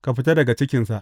Ka fita daga cikinsa!